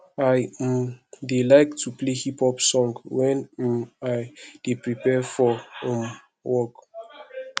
i um dey like to play hip hop song wen um i dey prepare for um work